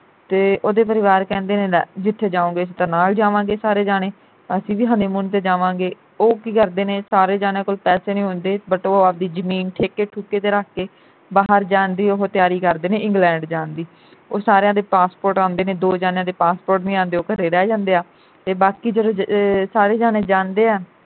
ਬਾਹਰ ਜਾਣ ਦੀ ਉਹ ਤਿਆਰੀ ਕਰਦੇ ਨੇ ਇੰਗਲੈਡ ਜਾਣ ਦੀ। ਉਹ ਸਾਰਿਆ ਦੇ passport ਆਂਦੇ ਨੇ ਦੋ ਜਾਣਿਆਂ ਦੇ passport ਨਹੀਂ ਆਂਦੇ ਉਹ ਘਰੇ ਰਹਿ ਜਾਂਦੇ ਆ ਤੇ ਬਾਕੀ ਜਦੋਂ ਅਹ ਸਾਰੇ ਜਾਣੇ ਜਾਂਦੇ ਆ।